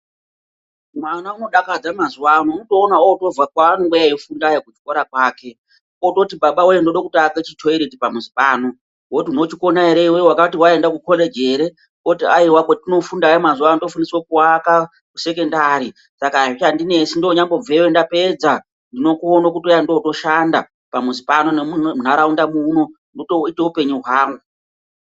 Mwana unodakadza mazuwaano .Unotoona obva kwaanenge eifundayo kuchikora kwake. Ototi babawoye ndoda kuaka chithoireti pamuzi pano. Woti unochikona ere iwewe, wati waenda kukholeji ere, oti ,aiwa kwatinofundayo tinofundiswa kuaka kusekendari saka azvichandinesi ndoonyambobvayo .Ndapedza ndinokona kuuya ndotoshanda pamuzi pano nemuntaraunda muno, ndotoita upenyu hwangu.